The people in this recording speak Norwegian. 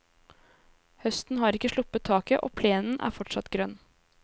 Høsten har ikke sluppet taket, og plenen er fortsatt grønn.